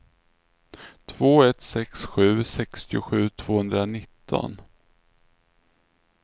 två ett sex sju sextiosju tvåhundranitton